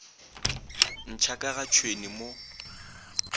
ntšha ka ga tšhwene mo